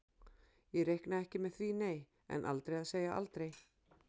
Ég reikna ekki með því nei, en aldrei að segja aldrei.